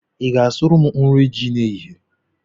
Ị ga-asụrụ m nri ji n'ehihie?